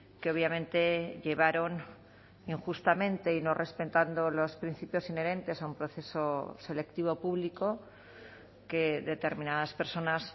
que obviamente llevaron injustamente y no respetando los principios inherentes a un proceso selectivo público que determinadas personas